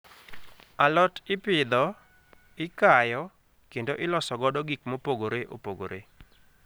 Alot ipidho, ikayo, kendo iloso godo gik mopogore opogore.